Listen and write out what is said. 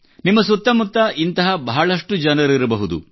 ನಿಮ್ಮ ಸುತ್ತ ಮುತ್ತ ಇಂಥ ಬಹಳಷ್ಟು ಜನರಿರಬಹುದು